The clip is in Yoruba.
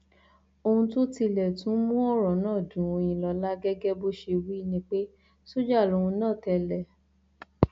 ohun tó tilẹ tún mú ọrọ náà dun oyinlọlá gẹgẹ bó ṣe wí ni pé sójà lòun náà tẹlẹ